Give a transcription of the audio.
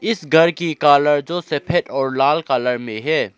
इस घर की कलर जो सफेद और लाल कलर में है।